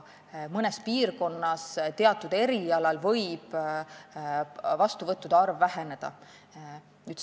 Mõnes piirkonnas võib teatud erialal vastuvõttude arv väheneda.